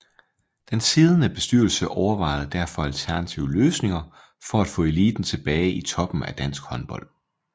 Den siddende bestyrelse overvejede derfor alternative løsninger for at få eliten tilbage i toppen af dansk håndbold